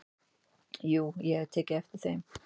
"""Jú, ég hafði tekið eftir þeim."""